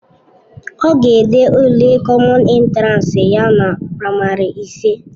Ọ ga-ede ule kọmọn entiransi ya na praịmarị ise.